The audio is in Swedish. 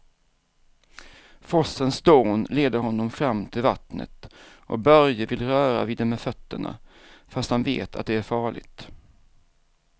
Forsens dån leder honom fram till vattnet och Börje vill röra vid det med fötterna, fast han vet att det är farligt.